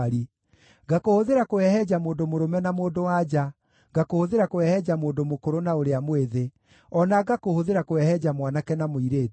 ngakũhũthĩra kũhehenja mũndũ mũrũme na mũndũ-wa-nja, ngakũhũthĩra kũhehenja mũndũ mũkũrũ na ũrĩa mwĩthĩ, o na ngakũhũthĩra kũhehenja mwanake na mũirĩtu,